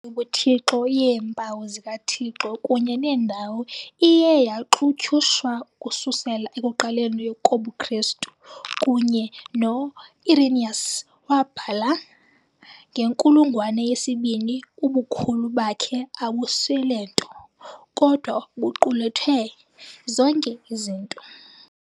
Imfundiso yobuthixo yeempawu zikaThixo kunye nendalo iye yaxutyushwa ukususela ekuqaleni kobuKristu, kunye no-Irenaeus wabhala ngenkulungwane yesi-2 - "Ubukhulu bakhe abuswele nto, kodwa buqulethe zonke izinto."